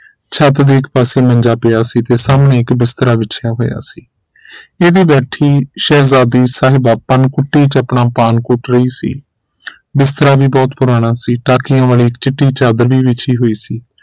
ਛੱਤ ਦੇ ਇਕ ਪਾਸੇ ਮੰਜਾ ਪਿਆ ਸੀ ਤੇ ਸਾਹਮਣੇ ਇਕ ਬਿਸਤਰਾ ਬਿਛੀਆ ਹੋਇਆ ਸੀ ਇਹ ਵੀ ਬੈਠੀ ਸ਼ਹਿਜ਼ਾਦੀ ਸਾਹਿਬਾਂ ਪਾਨ ਕੁੱਟੀ ਚ ਆਪਣਾ ਪਾਨ ਕੁੱਟ ਰਹੀ ਸੀ ਬਿਸਤਰਾ ਵੀ ਬਹੁਤ ਪੁਰਾਣਾ ਸੀ ਟਾਕੀਆਂ ਵੱਲ ਇੱਕ ਚਿੱਟੀ ਚਾਦਰ ਵੀ ਵਿਛੀ ਹੋਈ ਸੀ